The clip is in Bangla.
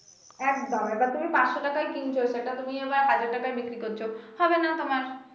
একদম এবার তুমি পাচশ টাকায় কিনছো এটা তুমি আবার ছয়শ টাকায় বিক্রি করছো হবে না তোমার।